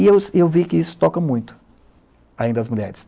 E eu e eu vi que isso toca muito ainda às mulheres.